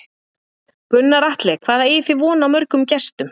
Gunnar Atli: Hvað eigið þið von á mörgum gestum?